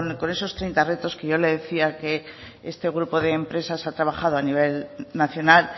con esos treinta retos que yo le decía que este grupo de empresas ha trabajado a nivel nacional